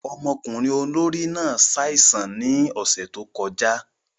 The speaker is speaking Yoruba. Ọmọkunrin olori náà ṣaisan ni ọsẹ to kọja.